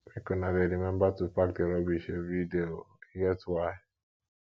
make una dey rememba to pack di rubbish everyday o e get why